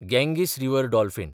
Ganges river dolphin